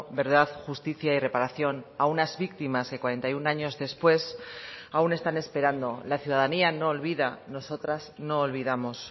verdad justicia y reparación a unas víctimas que cuarenta y uno años después aún están esperando la ciudadanía no olvida nosotras no olvidamos